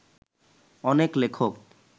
অনেক লেখক